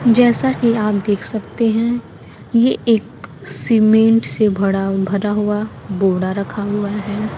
जैसा कि आप देख सकते हैं ये एक सीमेंट से भरा भरा हुआ बोड़ा रखा हुआ है।